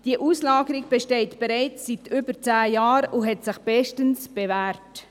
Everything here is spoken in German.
Diese Auslagerung besteht bereits seit über zehn Jahren und hat sich bestens bewährt.